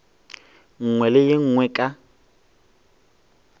nngwe le ye nngwe ka